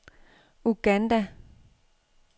Uganda